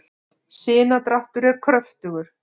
sinadráttur er kröftugur